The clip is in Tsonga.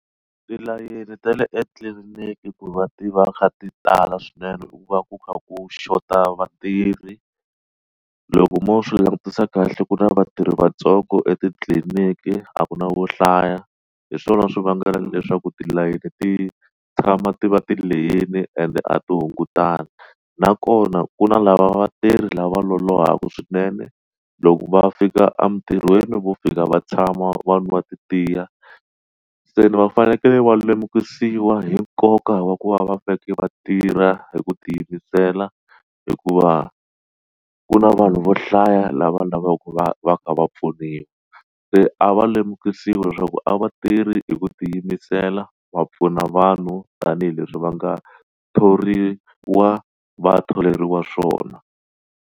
Tilayini ta le etliliniki ku va tiva kha ti tala swinene u va ku kha ku xota vatirhi loko mo swi langutisa kahle ku na vatirhi vatsongo etitliliniki a ku na wo hlaya hi swona swi vangaka leswaku tilayeni ti tshama ti va ti leyini ende a ti hungutana nakona ku na lava vatirhi lava lolohaka swinene loko va fika emintirhweni vo fika va tshama vanhu va nwa ti tiya se ni vafanekele va lemukisiwi hi nkoka wa ku va va faneleke va tirha hi ku tiyimisela hikuva ku na vanhu vo hlaya lava lavaka va va ka va pfuna leyi se a va lemukisiwi leswaku a va tirhi hi ku tiyimisela va pfuna vanhu tanihileswi va nga thoriwa vathoriwa swona.